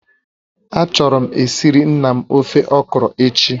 Achọrọ m esiri nna m ofe okro echi